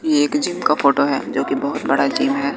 एक जिम का फोटो है जो की बहोत बड़ा जिम है।